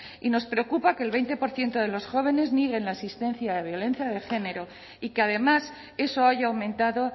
y nos preocupa que el veinte por ciento de los jóvenes niegue la existencia de violencia de género y que además eso haya aumentado